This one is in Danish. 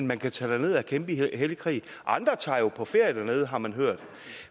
man kan tage derned og kæmpe i hellig krig andre tager jo på ferie dernede har man hørt